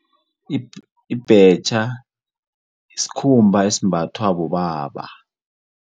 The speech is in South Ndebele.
Ibhetjha sikhumba esimbathwa bobaba.